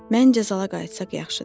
Mən cəzala qayıtsaq yaxşıdır.